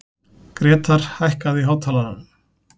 Grétar, hækkaðu í hátalaranum.